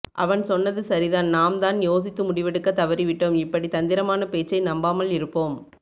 அவன் சொன்னது சரிதான் நாம் தான் யோசித்து முடிவு எடுக்க தவறிவிட்டோம் இப்படி தந்திரமான பேச்சை நம்பாமல் இருப்போம்